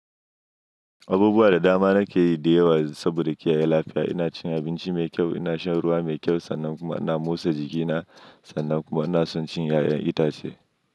Abubuwa da dama na ke yi da yawa saboda ke ya lafiya. Ina cin abinci mai kyau, ina shan ruwa mai kyau sannan kuma ina motsa jiki na sannan kuma ina son cin 'ya'yan itace.